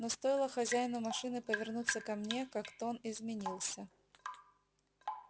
но стоило хозяину машины повернуться ко мне как тон изменился